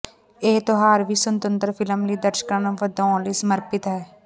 ਇਹ ਤਿਉਹਾਰ ਵੀ ਸੁਤੰਤਰ ਫਿਲਮ ਲਈ ਦਰਸ਼ਕਾਂ ਨੂੰ ਵਧਾਉਣ ਲਈ ਸਮਰਪਿਤ ਹੈ